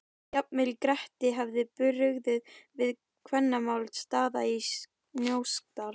Jafnvel Gretti hefði brugðið við kvennamál Daða í Snóksdal.